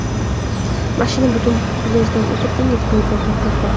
Mashina butun plyajdan o‘tib, dengiz bo‘yida to‘xtagan.